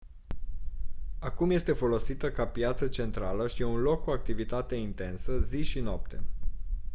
acum este folosită ca piață centrală și e un loc cu activitate intensă zi și noapte